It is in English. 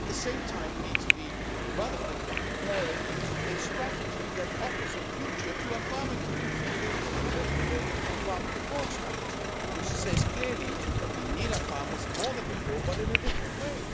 At the same time, we need to be rather quick in preparing a strategy that offers a future to our farming community with a From Farm to Fork strategy, which says clearly that we need our farmers more than before but in a different way.